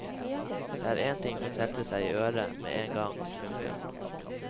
Det er ting som setter seg i øret men en gang. punktum